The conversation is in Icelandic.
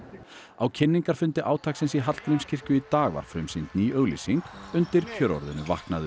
á kynningarfundi átaksins í Hallgrímskirkju í dag var frumsýnd ný auglýsing undir kjörorðinu vaknaðu